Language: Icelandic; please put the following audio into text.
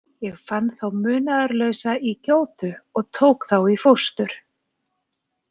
Ég fann þá munaðarlausa í gjótu og tók þá í fóstur.